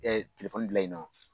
Ɛ telefɔni bila yen nɔ